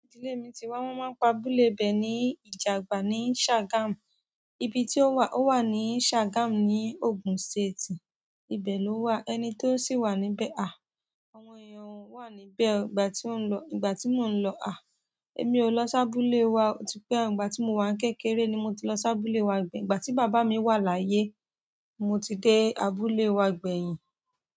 Ibi tí èmi ti wá, wọ́n máa ń pa abúlé ibẹ̀ ní Ìjàgbà ní Shagam. Ibi tí ó wà ó wà ní Shagamu ní Ògùn State. Ibẹ̀ ló wà, ẹni tí ó sì wà níbẹ̀. À, àwọn èèyàn wà níbẹ̀. Ìgbà tí mo ń lo, emi ó lọ sí abúlé wa, o ti pẹ́ ìgbà tí mo wà ní kékeré ni mo ti lọ sí abúlé wa gbeyin, ìgbà tí bàbá mi wà láyé mo ti dé abúlé wa gbẹ̀yin.